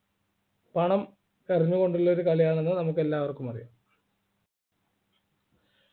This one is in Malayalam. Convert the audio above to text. പണം എറിഞ്ഞുകൊണ്ടുള്ള ഒരു കളിയാണെന്ന് നമുക്കെല്ലാവർക്കും അറിയാം